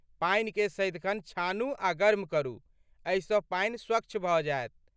पानिके सदिखन छानू आ गर्म करू, एहिसँ पानि स्वच्छ भऽ जायत।